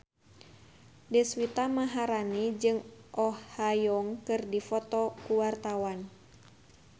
Deswita Maharani jeung Oh Ha Young keur dipoto ku wartawan